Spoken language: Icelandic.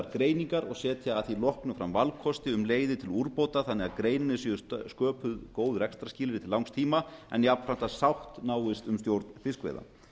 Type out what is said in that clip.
greiningar og setja að því loknu fram valkosti um leiðir til úrbóta þannig að greininni séu sköpuð góð rekstrarskilyrði til langs tíma en jafnframt að sátt náist um stjórn fiskveiða